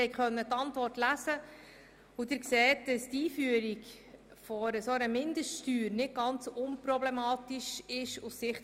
Sie konnten die Antwort lesen und sehen, dass die Einführung einer solchen Mindeststeuer aus Sicht des Regierungsrats nicht ganz unproblematisch scheint.